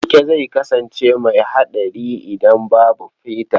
Keke zai kasance mai haɗari idan babu feda.